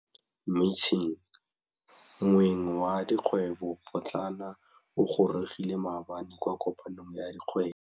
Moêng wa dikgwêbô pôtlana o gorogile maabane kwa kopanong ya dikgwêbô.